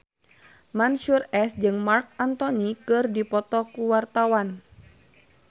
Mansyur S jeung Marc Anthony keur dipoto ku wartawan